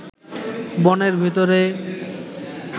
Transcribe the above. বনের ভেতরে